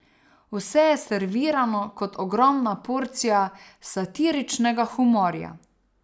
Vse je servirano kot ogromna porcija satiričnega humorja.